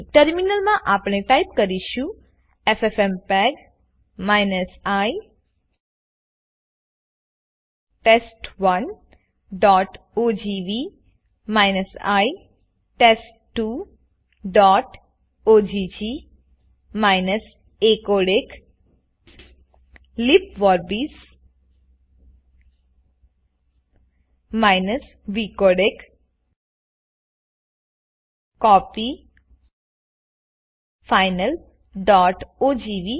terminal માં આપણે type કરીશું એફએફએમપેગ i test1ઓજીવી i test2ઓગ acodec લિબવોર્બિસ vcodec કોપી finalઓજીવી